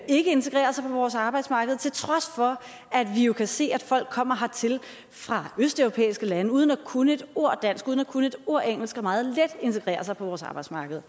ikke integrerer sig på vores arbejdsmarked til trods for at vi jo kan se at folk kommer hertil fra østeuropæiske lande uden at kunne et ord dansk uden at kunne et ord engelsk og meget let integrerer sig på vores arbejdsmarked